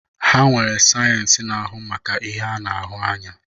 Ha nwere sayensị na-ahu maka ihe a na-ahụ anya.